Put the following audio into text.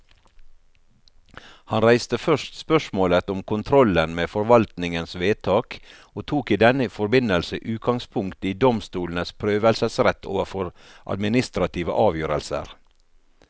Han reiste først spørsmålet om kontrollen med forvaltningens vedtak, og tok i denne forbindelse utgangspunkt i domstolenes prøvelsesrett overfor administrative avgjørelser.